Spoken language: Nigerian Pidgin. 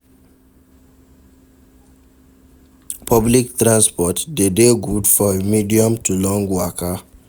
Public transport de dey good for medium to long waka